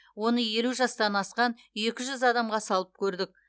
оны елу жастан асқан екі жүз адамға салып көрдік